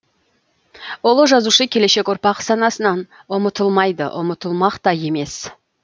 ұлы жазушы келешек ұрпақ санасынан ұмытылмайды ұмытылмақ та емес